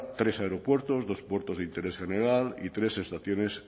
tres aeropuertos dos puertos de interés general y tres estaciones